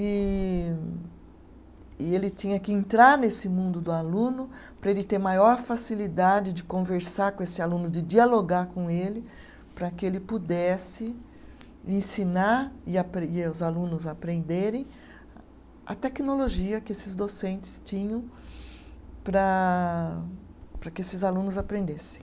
E e ele tinha que entrar nesse mundo do aluno para ele ter maior facilidade de conversar com esse aluno, de dialogar com ele, para que ele pudesse ensinar e apre, e os alunos aprenderem a tecnologia que esses docentes tinham para, para que esses alunos aprendessem.